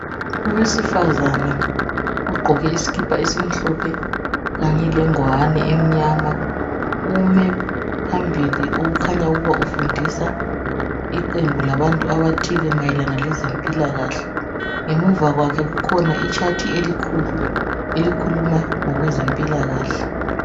Owesifazana ogqoke isikipa esimhlophe kanye lengwane emnyama ume phambili okukhanya ukuba ufundisa iqembu labantu abathile mayelana lezempilakahle. Ngemuva kwakhe kukhona itshathi elikhulu elikhuluma ngokwezempilakahle.